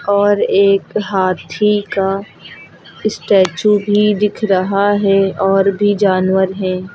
और एक हाथी का स्टेचू भी दिख रहा है और भी जानवर हैं।